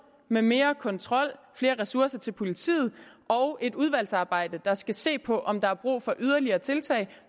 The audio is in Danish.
med mere kontrol flere ressourcer til politiet og et udvalgsarbejde der skal se på om der er brug for yderligere tiltag